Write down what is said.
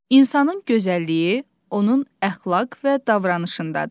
İnsanın gözəlliyi onun əxlaq və davranışındadır.